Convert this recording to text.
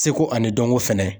Seko ani dɔnko fɛnɛ.